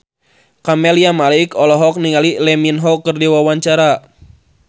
Camelia Malik olohok ningali Lee Min Ho keur diwawancara